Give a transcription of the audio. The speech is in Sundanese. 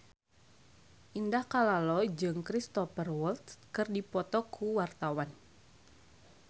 Indah Kalalo jeung Cristhoper Waltz keur dipoto ku wartawan